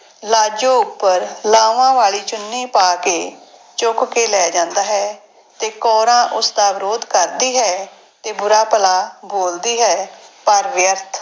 ਲਾਜੋ ਉੱਪਰ ਲਾਵਾਂ ਵਾਲੀ ਚੁੰਨੀ ਪਾ ਕੇ ਚੁੱਕ ਕੇ ਲੈ ਜਾਂਦਾ ਹੈ ਤੇ ਕੌਰਾਂ ਉਸਦਾ ਵਿਰੋਧ ਕਰਦੀ ਹੈ ਤੇ ਬੁਰਾ ਭਲਾ ਬੋਲਦੀ ਹੈ, ਪਰ ਵਿਅਰਥ।